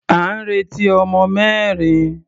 À ń retí ọmọ mẹ́rin.